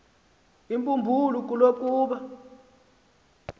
imbumbulu kubo kuba